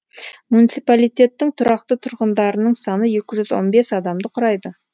муниципалитеттің тұрақты тұрғындарының саны екі жүз он бес адамды құрайды